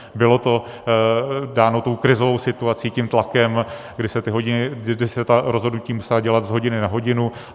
Bylo to dáno tou krizovou situací, tím tlakem, kdy se ta rozhodnutí musela dělat z hodiny na hodinu.